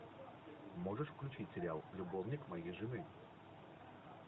можешь включить сериал любовник моей жены